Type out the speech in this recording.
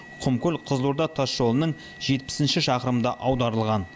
құмкөл қызылорда тасжолының жетпісінші шақырымында аударылған